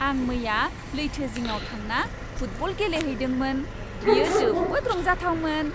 आं मैया लैथो जिङाव थांना फुटबल गेलेहैदोंमोन। बेयो जोबोद रंजाथावमोन।